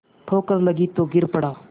ठोकर लगी तो गिर पड़ा